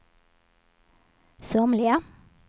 somliga